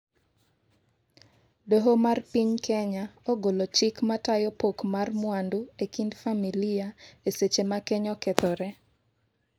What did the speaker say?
doho mar piny Kenya ogolo chik matayo pok mar mwandu ekind familia eseche ma keny okethore